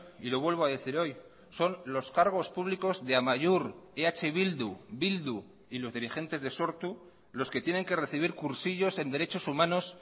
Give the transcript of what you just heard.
y lo vuelvo a decir hoy son los cargos públicos de amaiur eh bildu bildu y los dirigentes de sortu los que tienen que recibir cursillos en derechos humanos